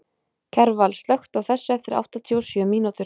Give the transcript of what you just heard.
Kjarval, slökktu á þessu eftir áttatíu og sjö mínútur.